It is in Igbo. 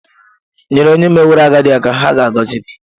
nyere onye meworo agadi aka, ha ga-agọzi gị.